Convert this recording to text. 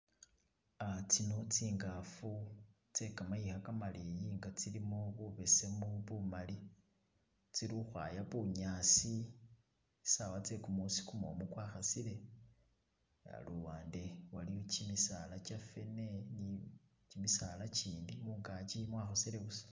Tsino tsingafu tsekamayiga maleyi nga tsilimo bubesemu, bumali tsili ukhwaya bunyasi tsawa tse kumusi gumumu gwakasile luwande iliyo gimisaala gyafene gimisaala gindi mungagi mwakosele busa